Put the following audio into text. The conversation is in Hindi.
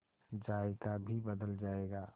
जायका भी बदल जाएगा